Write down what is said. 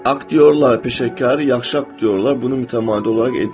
Aktyorlar, peşəkar, yaxşı aktyorlar bunu mütəmadi olaraq edirlər.